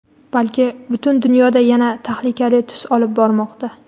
balki butun dunyoda yana tahlikali tus olib bormoqda.